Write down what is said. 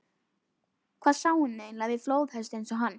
Hvað sá hún eiginlega við flóðhest eins og hann?